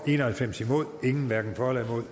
en og halvfems hverken for